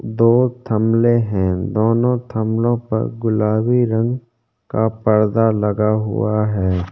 तो थमले है दोनों थमलों पर गुलाबी रंग का पर्दा लगा हुआ है।